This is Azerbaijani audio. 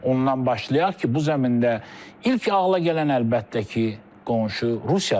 Ondan başlayaq ki, bu zəmində ilk ağıla gələn əlbəttə ki, qonşu Rusiyadır.